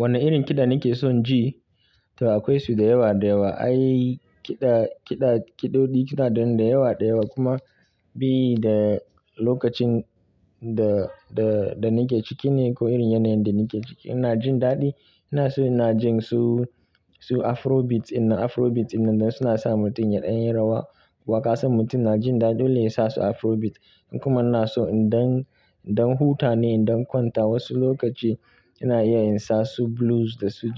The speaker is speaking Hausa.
Wane irin kiɗa nake son ji? To akwai su da yawa da yawa, ai kiɗa kiɗa kiɗoɗi kiɗaɗen da yawa da yawa kuma bi da lokacin da da da nake ciki ne ko irin yanayin da nake ciki ina jin daɗi. Ina so ina jin su su Afrobeat ina Afrobeat inda suna sa mutum yaɗa yin rawa. Waƙa san mutum yana jin daɗi dole yasa su Afrobeat. In kuma ina so in dan dan huta ne in dan kwanta wasu lokaci ina iya in sa su Blues da su